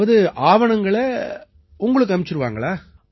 அதாவது ஆவணங்களை உங்களுக்கு அனுப்பிடுவாங்களா